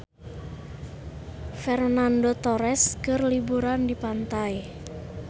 Fernando Torres keur liburan di pantai